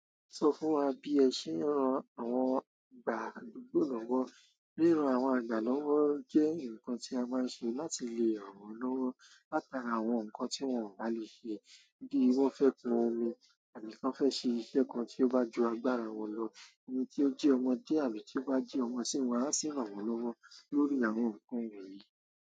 Sọ fún wa bí ẹ ṣe ń ran àwọn ìgbà àdúgbò lọ́wọ́. Ríran àwọn àgbà lọ́wọ́ jẹ́ nǹkan tí a máa ń ṣe láti lè ràn wọ́n lọ́wọ́ látara àwọn nǹkan tí wọ́n ò bá lè ṣe. Bí wọ́n fẹ́ kun omi àbí kàn fẹ́ ṣe iṣẹ́ kan tí ó bá ju agbára wọn lọ, ẹni tí ó jí ọmọdé àbí tí ó bá jí ọmọ sí ń wọ́n, a sì ń ràn wọ́n lọ́wọ́ lórí àwọn nǹkan wọ̀nyí.